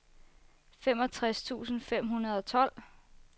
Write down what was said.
femogtres tusind fem hundrede og tolv